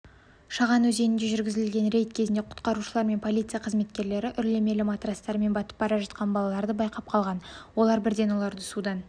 шаған өзенінде жүргізілген рейд кезінде құтқарушылар мен полиция қызметкерлері үрлемелі матрастарымен батып бара жатқан балаларды байқап қалған олар бірден оларды судан